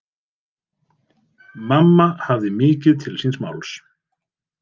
Mamma hafði mikið til síns máls.